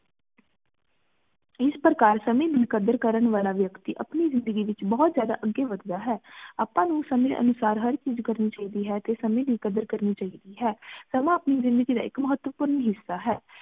ਏਸ ਪ੍ਰਕਾਰ ਸੰਮੇ ਦੀ ਕਦਰ ਕਰਨ ਵਾਲਾ ਵਿਅਕਤੀ ਆਪਣੀ ਜ਼ਿੰਦਗੀ ਏਚ ਬੋਹਤ ਜਾਦਾ ਅੱਗੇ ਵੱਧਦਾ ਹੈ ਆਪਾਂ ਨੂ ਸੰਮੇ ਅਨੁਸਾਰ ਹਰ ਚੀਜ਼ ਕਰਨੀ ਚਾਹੀਦੀ ਹੈ ਤੇ ਸਮੇਂ ਦੀ ਕਦਰ ਕਰਨੀ ਚਾਹੀਦੀ ਹੈ ਸਮਾਂ ਆਪਣੀ ਜ਼ਿੰਦਗੀ ਦਾ ਇਕ ਮਹਤਵਪੂਰਣ ਹਿੱਸਾ ਹੈ